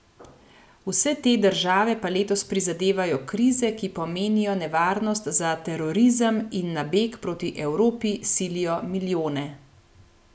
Vse te države pa letos prizadevajo krize, ki pomenijo nevarnost za terorizem in na beg proti Evropi silijo milijone.